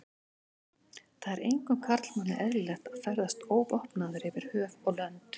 Það er engum karlmanni eðlilegt að ferðast óvopnaður yfir höf og lönd.